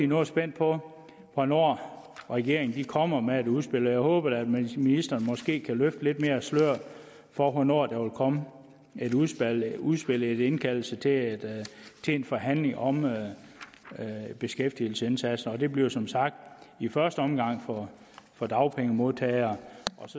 noget spændt på hvornår regeringen kommer med et udspil og jeg håber da at ministeren måske kan løfte lidt mere af sløret for hvornår der vil komme et udspil en indkaldelse til en forhandling om beskæftigelsesindsatsen det bliver som sagt i første omgang for dagpengemodtagere